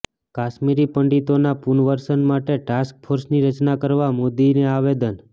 કાશ્મીરી પંડિતોના પુનર્વસન માટે ટાસ્ક ફોર્સની રચના કરવા મોદીને આવેદન